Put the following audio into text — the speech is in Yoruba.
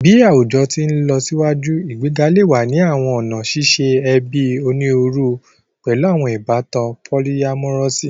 Bi awujọ ti nlọsiwaju, igbega le wa ni awọn ọna ṣiṣe ẹbi oniruuru, pẹlu awọn ibatan polyamorous